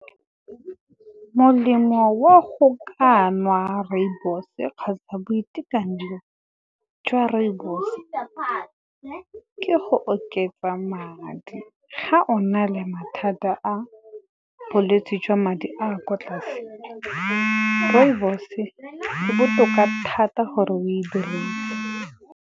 Molemo wa go ka nwa rooibos-e kgotsa boitekanelo jwa rooibos, ke go oketsa madi. Ga o na le mathata a bolwetse jwa madi a kwa tlase rooibos e botoka thata gore o e dirise.